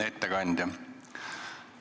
Hea ettekandja!